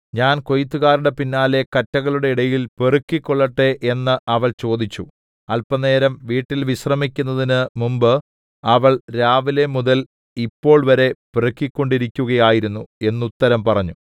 ഞാൻ കൊയ്ത്തുകാരുടെ പിന്നാലെ കറ്റകളുടെ ഇടയിൽ പെറുക്കിക്കൊള്ളട്ടെ എന്നു അവൾ ചോദിച്ചു അല്പനേരം വീട്ടിൽ വിശ്രമിക്കുന്നതിന് മുന്‍പ് അവൾ രാവിലെ മുതൽ ഇപ്പോൾ വരെ പെറുക്കിക്കൊണ്ടിരിക്കുകയായിരുന്നു എന്നുത്തരം പറഞ്ഞു